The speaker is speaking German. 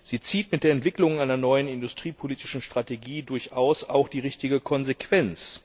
Sie zieht mit der Entwicklung einer neuen industriepolitischen Strategie durchaus auch die richtige Konsequenz.